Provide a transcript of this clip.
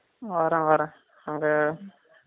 வரேன் வரேன் அங்க